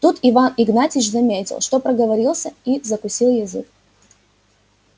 тут иван игнатьич заметил что проговорился и закусил язык